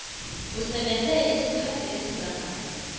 usebenze isikhathi esingangani